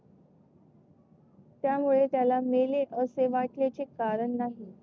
त्यामुळे त्याला मेलेत असे वाटल्याचे कारण नाही.